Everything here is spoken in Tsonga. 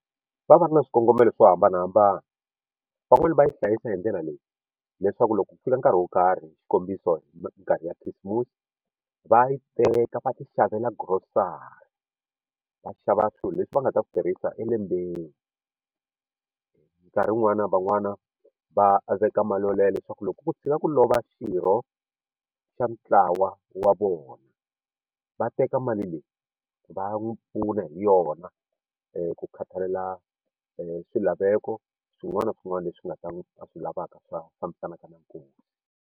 Va va va ri na swikongomelo swo hambanahambana van'wani va yi hlayisa hi ndlela leyi leswaku loko ku fika nkarhi wo karhi xikombiso nkarhi ya khisimusi va yi teka va ti xavela grocery va xava swilo leswi va nga ta ku tirhisa elembeni nkarhi wun'wani van'wana va veka mali yaleyo leswaku loko ku tshika ku lova xirho xa ntlawa wa vona va teka mali leyi va n'wi pfuna hi yona ku khathalela swilaveko swin'wana na swin'wana leswi nga ta va swi lavaka swa fambisanaka na nkosi.